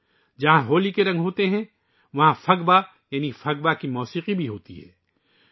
جہاں ہولی کے رنگ ہیں وہیں پھگوا کی موسیقی بھی ہے ، جو پھگوا ہے